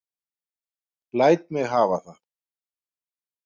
Læt mig hafa það!